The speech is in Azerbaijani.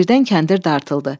Birdən kəndir dartıldı.